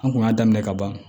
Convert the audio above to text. An kun y'a daminɛ ka ban